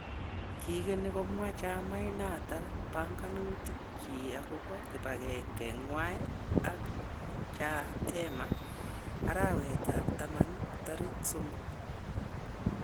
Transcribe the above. Kigeni komwa Chamait noton panganutik chik agobo kibagenge nywany akChadema arawet ab taman tariki somok.